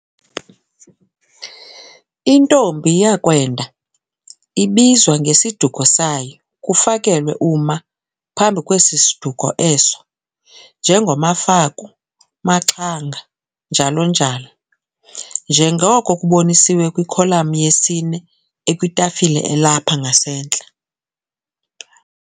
intombi yakwenda ibizwa ngesiduko sayo kufakelwe u'ma' phambi kwesi duko eso, njengo-maFaku, maXhanga, njalo njalo, njengoko kubonisiwe kwi-kholami yesine ekwitafile elapha ngasentla.